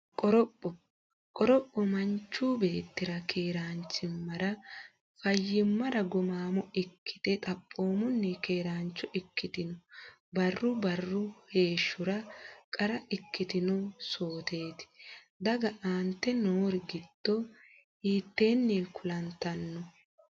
Qoropho Qoropho Manchu beetti keeraanchimmara, fayyimmara, gumaamo ikkate xaphoomunni keeraancho ikkitino barru barru heeshshora qara ikkino sooteeti, doogga aante noori giddo hiitteenni kulantanno?